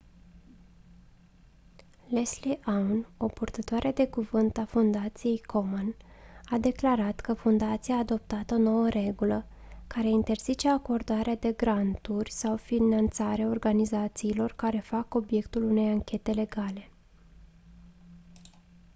leslie aun o purtătoare de cuvânt a fundației komen a declarat că fundația a adoptat o nouă regulă care interzice acordarea de granturi sau finanțare organizațiilor care fac obiectul unei anchete legale